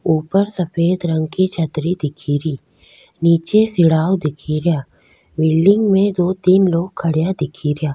ऊपर सफ़ेद रंग की छतरी दिखेरी निचे सिराओ दिखेरा बिल्डिंग में दो तीन लोग खड़या दिखेरा।